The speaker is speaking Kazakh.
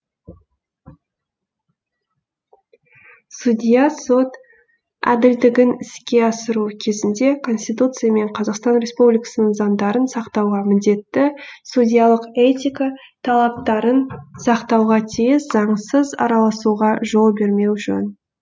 судья сот әділдігін іске асыру кезінде конституция мен қазақстан республикасының заңдарын сақтауға міндетті судьялық этика талаптарын сақтауға тиіс заңсыз араласуға жол бермеу жөн